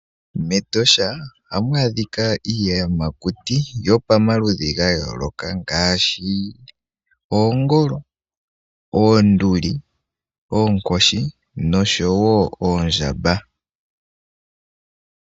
Metosha ohamu adhika iiyamakuti yomaludhi ga yooloka ngaaashi oongolo, oonduli ,oonkoshi noshowo oondjamba.